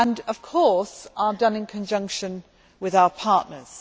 Of course they are done in conjunction with our partners.